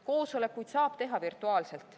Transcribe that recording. Koosolekuid saab teha virtuaalselt.